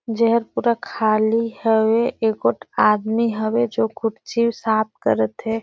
जेहर पूरा खाली हवे एकोट आदमी हवे जो कुर्सी साफ करा थे।